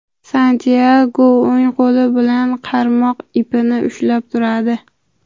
Santyago o‘ng qo‘li bilan qarmoq ipini ushlab turadi.